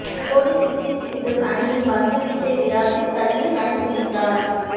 போடி Sydney Sixers அணியின் பந்து வீச்சை விளாசித் தள்ளி ரன் குவித்தார்